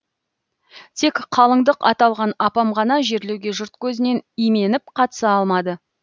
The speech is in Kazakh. тек қалыңдық аталған апам ғана жерлеуге жұрт көзінен именіп қатыса алмады